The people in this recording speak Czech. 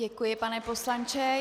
Děkuji, pane poslanče.